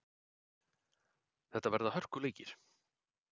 Þetta verða hörkuleikir.